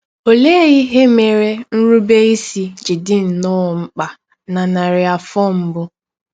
Ọlee ihe mere nrụbeisi ji dị nnọọ mkpa na narị afọ mbụ?